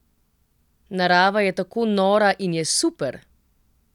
Narava je tako nora in je super!